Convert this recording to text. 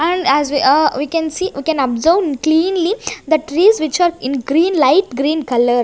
And as we we can see we can observe cleanly that trees which are in green light green colour.